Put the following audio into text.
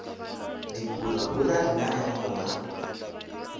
dipurabura rena ge re gola